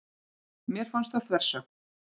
Mér fannst það þversögn.